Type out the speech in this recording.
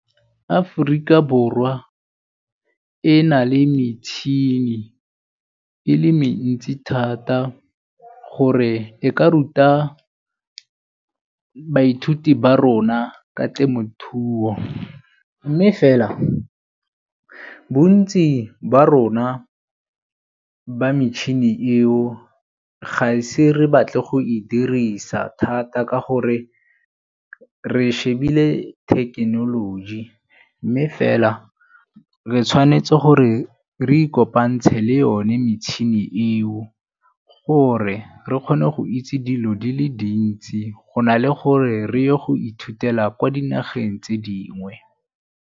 Aforika Borwa e na le metšhini e le mentsi thata gore e ka ruta baithuti ba rona ka temothuo mme fela bontsi ba rona, ba metšhini eo ga e se re batle go e dirisa thata ka gore re shebile thekenoloji. Mme fela re tshwanetse gore re ikopantshe le yone metšhini eo gore re kgone go itse dilo di le dintsi go na le gore re go ithutela kwa dinageng tse dingwe.